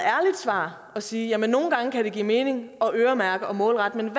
svar at sige at nogle gange kan det give mening at øremærke og målrette men